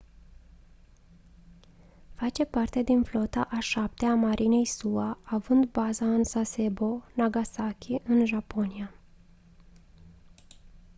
face parte din flota a șaptea a marinei sua având baza în sasebo nagasaki în japonia